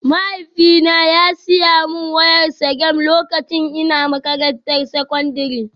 Mahaifina ya saya min wayar Sagem lokacin ina makarantar sakandare